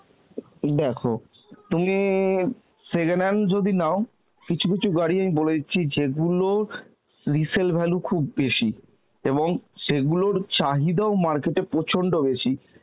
দেখো তুমি second hand যদি নাও কিছু কিছু গাড়ি আমি বলে দিচ্ছি যে গুলোর resell value খুব বেশি এবং সেগুলোর চাহিদা ও market এ প্রচন্ড বেশি,